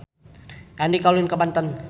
Andika ulin ka Banten